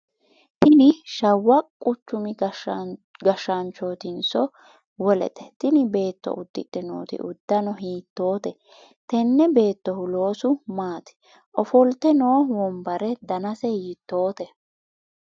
tini shawwa quchumi kashshaanchootinso wolete? tini beetto udidhe nooti uddano hiittoote? tenne beettohu loosu maati? ofolte noo wombare danase hiittoote?